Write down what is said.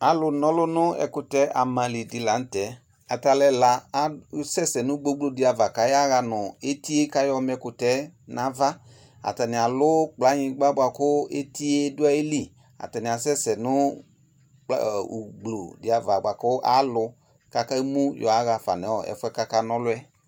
Alʋna ɔlʋ nʋ ɛkutɛ amali di lanʋtɛ ata alʋ ɛla asɛsɛ nʋ gbogblodi ava kʋ aya ɣa nʋ etie kʋ ayɔma ɛkʋtɛ nʋ ava atani alʋ kplanyigba buatʋ etie dʋ ayili atani asɛsɛ nʋ ʋgblʋdi buatu alu ava kakemʋ yɔaɣafa nʋ ɛfʋɛ kakana ɔlʋɛ